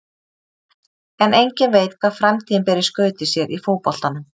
En enginn veit hvað framtíðin ber í skauti sér í fótboltanum.